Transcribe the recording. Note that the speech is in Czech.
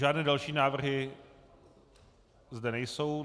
Žádné další návrhy zde nejsou.